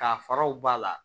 Ka faraw b'a la